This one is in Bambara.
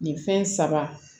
Nin fɛn saba